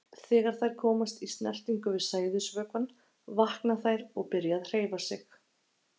Þegar þær komast í snertingu við sæðisvökvann vakna þær og byrja að hreyfa sig.